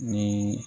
Ni